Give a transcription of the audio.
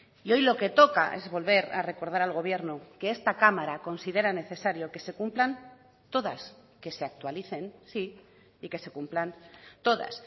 y hoy lo que toca es volver a recordar al gobierno que esta cámara considera necesario que se cumplan todas que se actualicen sí y que se cumplan todas